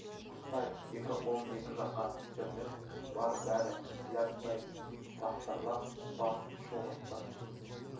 құстай екі қолын екі жаққа сермеп бар бәрі ләббай тақсырлап бас шұлғысты